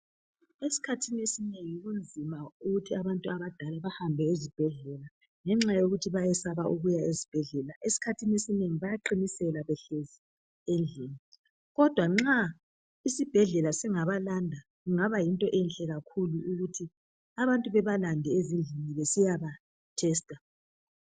Isikhathini esinengi kunzima ukuthi abantu abadala bahambe esibhedlela ngenxa yokuthi bayesaba ukuya esibhedlela. Esikhathini esinengi bayaqinisela behlezi endlini kodwa nxa isibhedlela singabalanda kungaba yinto enhle kakhulu ukuthi abantu bebalanda ezindlini besiyaba thesitha.